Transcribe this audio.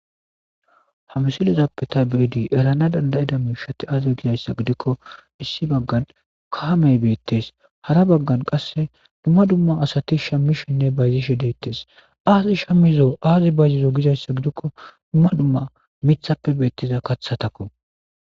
Ha msilizappeta beedi elana dandayida miishati aaze gizayssa gidikko issi baggan kahamey beettes hara baggan qasse dumma dumma asati shammishinne bayzishe deettes aazi shammizo aazi bayzizo gizayssa gidikko dumma dumma mithappe beettiza kaththatakko.